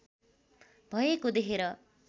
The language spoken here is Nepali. भएको देखेर